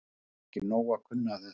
Það er ekki nóg að kunna þetta.